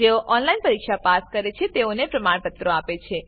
જેઓ ઓનલાઈન પરીક્ષા પાસ કરે છે તેઓને પ્રમાણપત્રો આપે છે